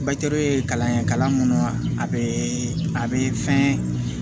ye kalan ye kalan mun a be a be fɛn